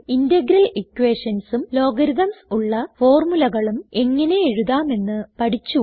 integral equationsഉം logarithms ഉള്ള ഫോർമുലകളും എങ്ങനെ എഴുതാമെന്ന് പഠിച്ചു